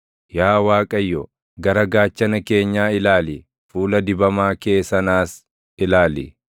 Yaa Waaqayyo, gara gaachana keenyaa ilaali; fuula dibamaa kee sanaas ilaali.